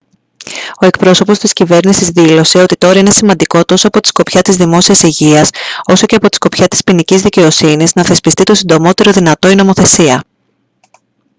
ο εκπρόσωπος της κυβέρνησης δήλωσε «ότι τώρα είναι σημαντικό τόσο από τη σκοπιά της δημόσιας υγείας όσο και από τη σκοπιά της ποινικής δικαιοσύνης να θεσπιστεί το συντομότερο δυνατό η νομοθεσία»